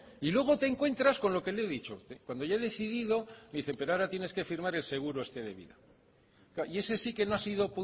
y luego te encuentras con lo que le he dicho a usted cuando ya he decidido me dice pero ahora tienes que firmar el seguro este de vida y ese sí que no ha sido